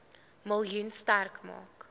miljoen sterk maak